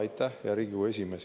Aitäh, hea Riigikogu esimees!